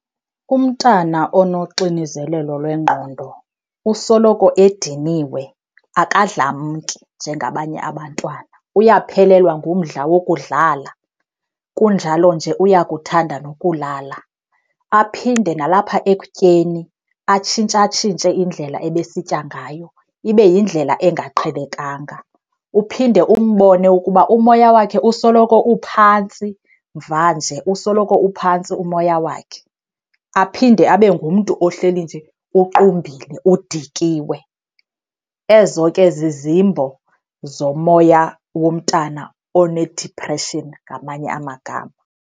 Umntana onoxinizelelo lwengqondo usoloko ediniwe, akadlamki njengabanye abantwana, uyaphelelwa ngumdla wokudlala kunjalo nje uyakuthanda nokulala. Aphinde nalapha ekutyeni atshintshatshintshe indlela ebesitya ngayo, ibe yindlela engaqhelekanga. Uphinde umbone ukuba umoya wakhe usoloko uphantsi mvanje, usoloko uphantsi umoya wakhe, aphinde abe ngumntu ohleli nje uqumbile udikiwe. Ezo ke zizimbo zomoya womntana one-depression ngamanye amagama.